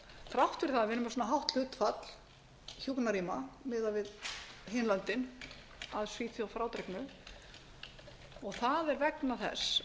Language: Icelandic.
þrátt fyrir það að vera með svona hátt hlutfall hjúkrunarrýma miðað við hin löndin að svíþjóð frádreginni og það er vegna þess